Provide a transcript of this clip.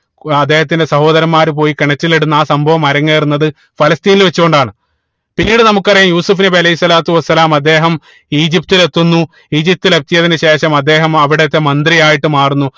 ഏർ അദ്ദേഹത്തിന്റെ സഹോദരന്മാര് പോയി കിണറ്റിൽ ഇടുന്നു ആ സംഭവം അരങ്ങേറുന്നത് ഫലസ്തീനിൽ വെച്ച് കൊണ്ടാണ് പിന്നീട് നമുക്കറിയ യൂസഫ് നബി അലൈഹി സ്വലാത്തു വസ്സലാമ അദ്ദേഹം ഈജിപ്തിലെത്തുന്നു ഈജിപ്തിലെത്തിയതിന് ശേഷം അദ്ദേഹം അവിടത്തെ മന്ത്രി ആയിട്ട് മാറുന്നു